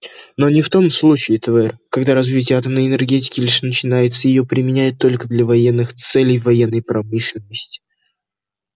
но не в том случае твер когда развитие атомной энергетики лишь начинается и её применяют только для военных целей в военной промышленности